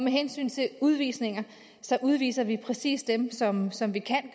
hensyn til udvisninger udviser vi præcis dem som som vi kan